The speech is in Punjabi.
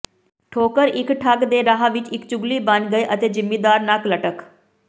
ਠੋਕਰ ਇੱਕ ਠੱਗ ਦੇ ਰਾਹ ਵਿੱਚ ਇੱਕ ਚੁਗਲੀ ਬਣ ਗਏ ਅਤੇ ਜਿਮੀਦਾਰ ਨੱਕ ਲਟਕ